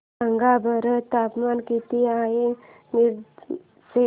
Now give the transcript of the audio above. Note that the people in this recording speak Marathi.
सांगा बरं तापमान किती आहे मिरज चे